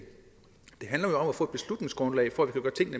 få et beslutningsgrundlag for